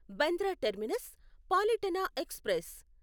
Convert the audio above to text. Bandra terminus Palitana express